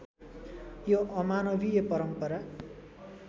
यो अमानवीय परम्परा